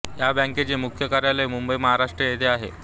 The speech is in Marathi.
या बँकेचे मुख्य कार्यालय मुंबई महाराष्ट्र येथे आहे